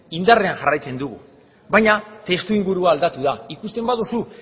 indarrean jarraitzen dugu baina testu ingurua aldatu da ikusten baduzu